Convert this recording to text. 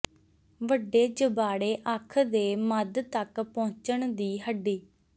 ਵੱਡੇ ਜਬਾੜੇ ਅੱਖ ਦੇ ਮੱਧ ਤੱਕ ਪਹੁੰਚਣ ਦੀ ਹੱਡੀ